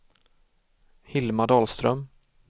Hilma Dahlström